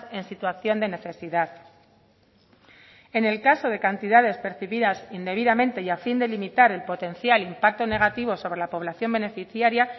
en situación de necesidad en el caso de cantidades percibidas indebidamente y a fin de limitar el potencial impacto negativo sobre la poblacion beneficiaria